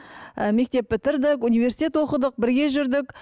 ы мектеп бітірдік университет оқыдық бірге жүрдік